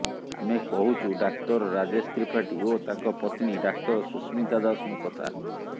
ଆମେ କହୁଛୁ ଡାକ୍ତର ରାଜେଶ ତ୍ରିପାଠୀ ଓ ତାଙ୍କ ପତ୍ନୀ ଡାକ୍ତର ସୁସ୍ମିତା ଦାଶଙ୍କ କଥା